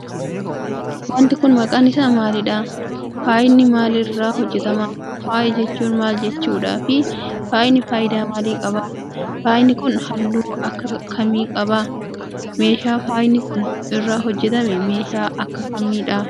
Wanti kun, maqaan isaa maalidha? Faayni maal irraa hojjatama? Faaya jechuun ,maal jechuudha fi faayni faayidaa maalii qabu? Faayni kun, haalluu akka kamii qaba? Meeshaan faayni kun, irraa hojjatame meeshaa akka kamii dha?